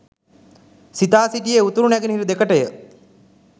සිතා සිටියේ උතුරු නැගෙනහිර දෙකටය.